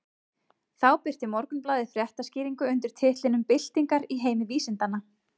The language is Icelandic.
Þá birti Morgunblaðið fréttaskýringu undir titlinum Byltingar í heimi vísindanna.